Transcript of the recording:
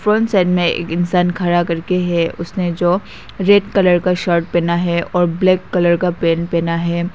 Side में एक इंसान खड़ा करके है उसने जो रेड कलर का शर्ट पहना है और ब्लैक कलर का पेंट पहना है।